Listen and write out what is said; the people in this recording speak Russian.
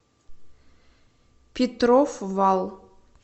петров вал